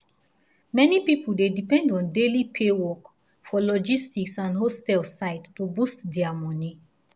many people dey depend on daily pay work for logistic and hostel side to boost their money.